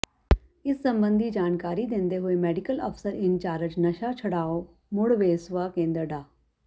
ਇਸ ਸਬੰਧੀ ਜਾਣਕਾਰੀ ਦਿੰਦੇ ਹੋਏ ਮੈਡੀਕਲ ਅਫਸਰ ਇੰਚਾਰਜ਼ ਨਸ਼ਾ ਛੁਡਾਓ ਮੁੜ ਵਸੇਵਾ ਕੇਂਦਰ ਡਾ